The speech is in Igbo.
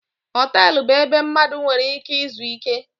Họtelụ bụ ebe mmadụ nwere ike izu ike.